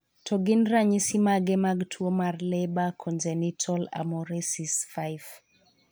To gin ranyisi mage mag tuo mar Leber congenital amaurosis 5?